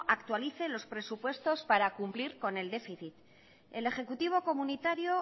actualice los presupuestos para cumplir con el déficit el ejecutivo comunitario